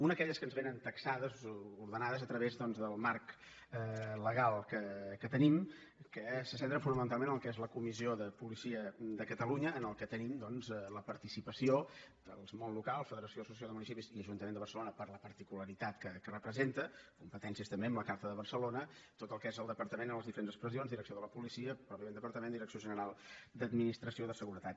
una aquelles que ens vénen taxades o ordenades a través del marc legal que tenim que se centren fonamentalment en el que és la comissió de policia de catalunya en la que tenim doncs la participació del món local federació i associació de municipis i ajuntament de barcelona per la particularitat que representa competències també amb la carta de barcelona i tot el que és el departament en les diferents expressions direcció de la policia pròpiament el departament direcció general d’administració de seguretat